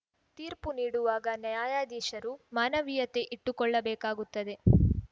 ತೀರ್ಪು ನೀಡುವಾಗ ನ್ಯಾಯಾಧೀಶರು ಮಾನವೀಯತೆ ಇಟ್ಟುಕೊಳ್ಳುಬೇಕಾಗುತ್ತದೆ